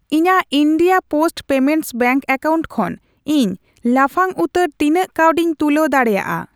ᱤᱧᱟᱜ India post payments bank account ᱠᱷᱚᱱ ᱤᱧ ᱞᱟᱯᱷᱟᱝ ᱩᱛᱟᱹᱨ ᱛᱤᱱᱟᱹᱜ ᱠᱟᱹᱣᱰᱤᱧ ᱛᱩᱞᱟᱹᱣ ᱫᱟᱲᱮᱭᱟᱜᱼᱟ ?